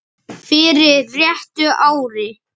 fyrir réttu ári.